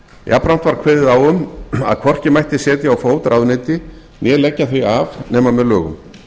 jafnframt var kveðið á um að hvorki mætti setja á fót ráðuneyti né leggja þau af nema með lögum